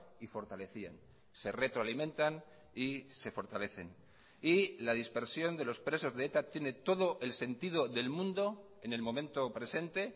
y fortalecían se retroalimentan y se fortalecen y la dispersión de los presos de eta tiene todo el sentido del mundo en el momento presente